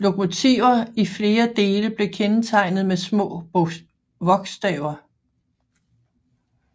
Lokomotiver i flere dele blev kendetegnet med små vogstaver